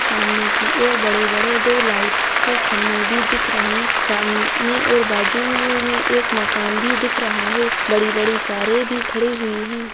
सामने की और बड़े बड़े दो लिएट्स के खंबे भी दिख रहे है सामने और बाजु मे एक मकान भी दिख रहा है बड़े बड़े भी खड़े हुई हैं।